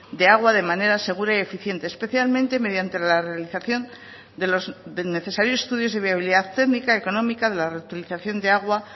de agua de manera segura y eficiente especialmente mediante la realización de los necesarios estudios de viabilidad técnica económica de la reutilización de aguas